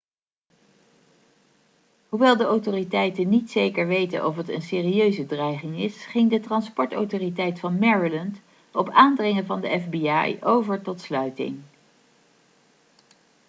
hoewel de autoriteiten niet zeker weten of het een serieuze dreiging is ging de transportautoriteit van maryland op aandringen van de fbi over tot sluiting